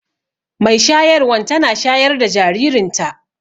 mai shayarwan tana shayar da jaririnta